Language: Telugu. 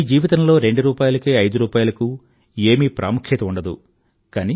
మీ జీవితంలో రెండు రూపాయిలకి ఐదు రూపాయిలకి ఏమీ ప్రాముఖ్యత ఉండదు